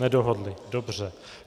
Nedohodli, dobře.